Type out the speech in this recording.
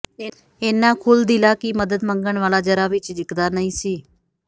ਏਨਾ ਖੁੱਲ੍ਹਦਿਲਾ ਕਿ ਮਦਦ ਮੰਗਣ ਵਾਲਾ ਜ਼ਰਾ ਵੀ ਝਿਜਕਦਾ ਨਹੀਂ ਸੀ